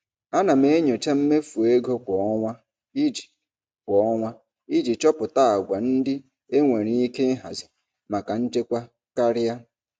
Ana m enyocha mmefu ego kwa ọnwa iji kwa ọnwa iji chọpụta àgwà ndị enwere ike ịhazi maka nchekwa karịa.